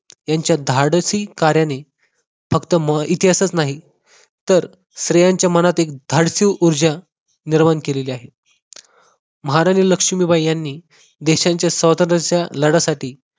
त्यांच्या धाडसी कार्याने फक्त म इतिहासच नाही तर सर्वांच्या मनात एक धाडसी ऊर्जा परवान केली आहे महाराणी लक्ष्मीबाई यांनी देशाच्या स्वातंत्र्याच्या लढ्यासाठी